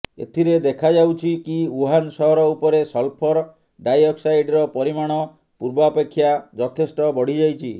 ଏଥିରେ ଦେଖାଯାଉଛି କି ୱୁହାନ ସହର ଉପରେ ସଲଫର ଡାଇଅକ୍ସାଇଡର ପରିମାଣ ପୂର୍ବାପେକ୍ଷା ଯଥେଷ୍ଟ ବଢ଼ିଯାଇଛି